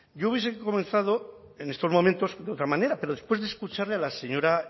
yo hubiese comenzado en estos momentos de otra manera pero después de escucharle a la señora